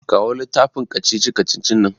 Kawo littafin kacici-kacicin nan.